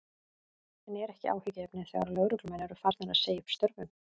En er ekki áhyggjuefni þegar lögreglumenn eru farnir að segja upp störfum?